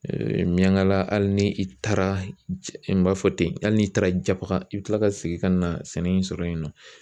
miyangala hali ni i taara n b'a fɔ ten hali n'i taara japaga i bɛ kila ka segin ka na sɛnɛ in sɔrɔ yen nɔ